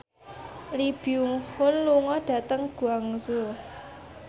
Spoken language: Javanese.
Lee Byung Hun lunga dhateng Guangzhou